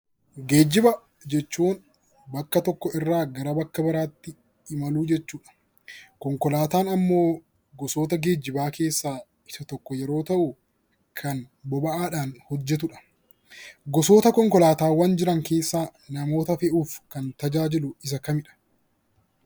Geejiba jechuun bakka tokkoo irraa gara bakka biraatti imaluu jechuudha. Konkolaataan immoo gosoota geejiba keessaa isa tokko yoo ta'u, kan boba'aan hojjetudha. Gosoota konkolaataawwan jiran keessaa namoota fe'uuf kan tajaajilu isa kamidha?